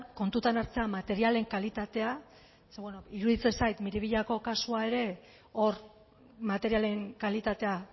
kontutan hartzea materialen kalitatea ze beno iruditzen zait miribillako kasua ere hor materialen kalitatea